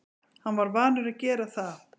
Hann var vanur að gera það.